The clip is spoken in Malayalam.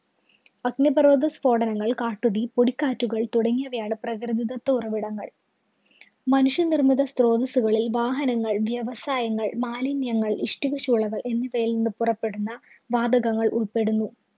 അഗ്നിപര്‍വ്വതസ്ഫോടനങ്ങള്‍, കാട്ടുതീ, പൊടിക്കാറ്റുകള്‍ തുടങ്ങിയവയാണ് പ്രകൃതിദത്ത ഉറവിടങ്ങള്‍. മനുഷ്യ നിര്‍മ്മിത സ്രോതസുകളില്‍ വാഹനങ്ങള്‍, വ്യവസായങ്ങള്‍, മാലിന്യങ്ങള്‍, ഇഷ്ടികചൂളകള്‍ എന്നിവയില്‍ നിന്ന് പുറപ്പെടുന്ന വാതകങ്ങള്‍ ഉള്‍പ്പെടുന്നു.